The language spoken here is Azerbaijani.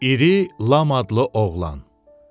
İri Lam adlı oğlan.